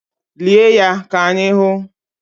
Lie ya ka anyị hụ!